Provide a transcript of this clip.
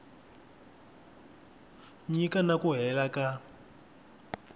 nyika na ku leha ka